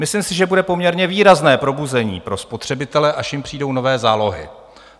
Myslím si, že bude poměrně výrazné probuzení pro spotřebitele, až jim přijdou nové zálohy.